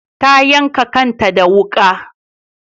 Ta yanka kanta da wuka